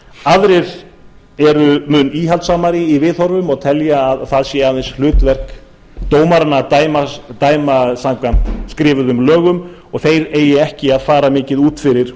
aðrir eru mun íhaldssamari viðhorfum og telja að það sé aðeins hlutverk dómaranna að dæma samkvæmt skrifuðum lögum og þeir eigi ekki að fara mikið út fyrir